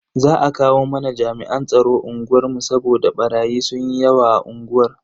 Za a kawo mana jami'an tsaro unguwar mu saboda barayi sunyi yawa a unguwar.